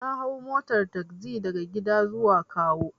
Na hau motar tagzi daga gida zuwa kawo.